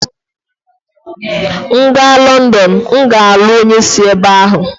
M gaa Lọndọn, m ga-alụ onye si ebe ahụ.